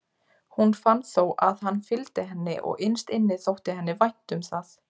Hún fann þó að hann fylgdi henni og innst inni þótti henni vænt um það.